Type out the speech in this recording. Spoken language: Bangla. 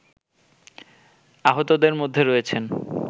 আহতদের মধ্যে রয়েছেন